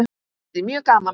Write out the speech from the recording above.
Það yrði mjög gaman.